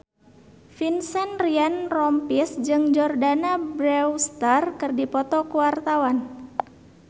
Vincent Ryan Rompies jeung Jordana Brewster keur dipoto ku wartawan